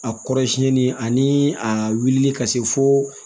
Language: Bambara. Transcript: A kɔrɔ siɲɛni ani a wulila ka se fo